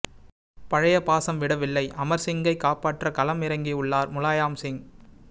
பழைய பாசம் விடவில்லை அமர்சிங்கை காப்பாற்ற களம் இறங்கியுள்ளார் முலாயாம் சிங்